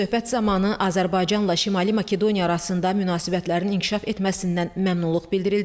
Söhbət zamanı Azərbaycanla Şimali Makedoniya arasında münasibətlərin inkişaf etməsindən məmnunluq bildirildi.